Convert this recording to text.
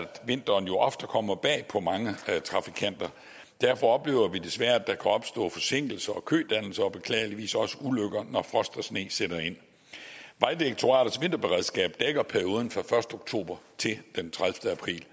vinteren ofte kommer bag på mange trafikanter derfor oplever vi desværre at der kan opstå forsinkelser og kødannelser og beklageligvis også ulykker når frost og sne sætter ind vejdirektoratets vinterberedskab dækker perioden fra den første oktober til den tredivete april